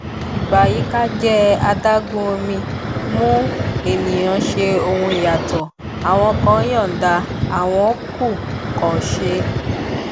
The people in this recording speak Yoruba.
ìbàyíkájẹ adágún omi mú ènìyàn ṣe ohun yàtọ àwọn kan yọọda àwọn kù kò ṣe